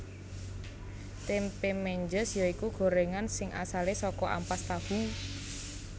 Tempe Menjes ya iku gorengan sing asale saka ampas tahu